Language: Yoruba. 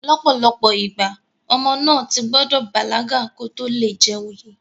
ọ̀pọ̀lọpọ̀ ìgbà, ọmọ náà ti gbọdọ̀ bàlágà kó tó le joyè